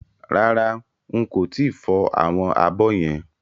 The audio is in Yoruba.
Rárá n kò tíì fọ àwọn abọ́ yẹn